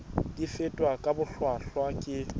di fetwa ka bohlwahlwa ke